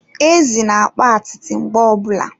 Ezi na-akpa atịtị mgbe ọbụla